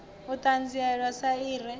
u ṱanzilelwa sa i re